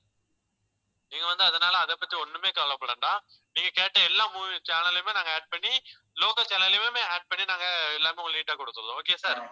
நீங்க வந்து அதனால அதைப் பத்தி ஒண்ணுமே கவலைப்பட வேண்டாம். நீங்க கேட்ட எல்லா movie channel லயுமே நாங்க add பண்ணி local channel லயுமே add பண்ணி நாங்க எல்லாமே உங்களுக்கு neat ஆ கொடுத்தர்றோம். okay sir